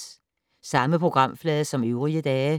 Samme programflade som øvrige dage